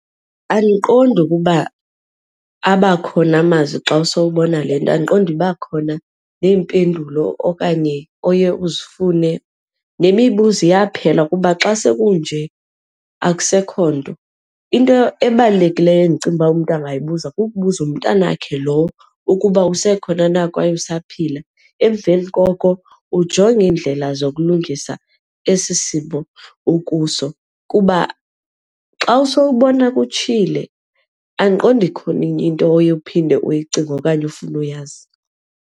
Andiqondi ukuba abakhona amazwi xa usowubona le nto, andiqondi iba khona neempendulo okanye oye uzifune, nemibuzo iyaphela kuba xa sekunje akusekho nto. Into ebalulekileyo endicinga uba umntu angayibuza kukubuza umntanakhe lowo ukuba usekhona na kwaye usaphila, emveni koko ujonge iindlela zokulungisa esi simo okuso kuba xa usowubona kutshile andiqondi ikhona enye into oye uphinde uyicinge okanye ufune uyazi.